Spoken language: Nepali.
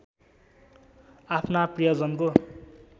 आफ्ना प्रियजनको